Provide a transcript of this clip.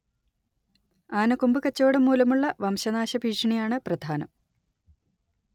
ആനക്കൊമ്പ് കച്ചവടം മൂലമുള്ള വംശനാശ ഭീഷണിയാണ്‌ പ്രധാനം